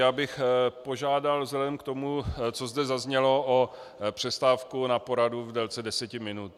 Já bych požádal vzhledem k tomu, co zde zaznělo, o přestávku na poradu v délce deset minut.